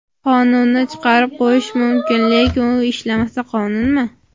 Qonunni chiqarib qo‘yish mumkin, lekin u ishlamasa qonunmi?!